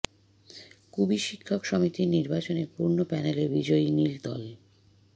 কুবি শিক্ষক সমিতির নির্বাচনে পূর্ণ প্যানেলে বিজয়ী নীল দল